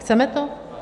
Chceme to?